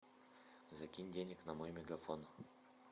закинь денег на мой мегафон